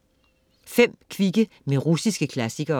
5 kvikke med russiske klassikere